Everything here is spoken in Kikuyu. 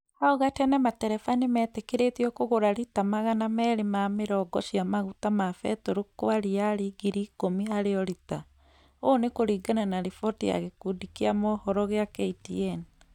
Hau gatene, matereba nĩmeetĩkĩrĩtio kũgũra rita magana merĩ ma mĩrongo cia maguta ma betũrũ kwa riari ngiri ikumi harĩ o rita, ũũ nĩ kuringana na riboti ya gikundi kia mohoro kĩa KTN